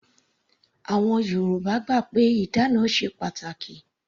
Àwọn Yorùbá gbà pé ìdána ṣe pàtàkì.